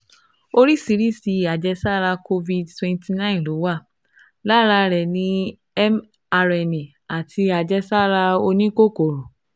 Oríṣiríṣi àjẹsára COVID- twenty nine ló wà, lára rẹ̀ ni mRNA àti àjẹ́sára oníkòkòrò